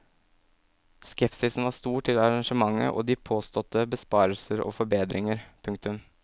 Skepsisen var stor til arrangementet og de påståtte besparelser og forbedringer. punktum